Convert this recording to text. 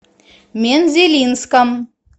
мензелинском